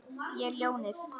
Ég er ljónið.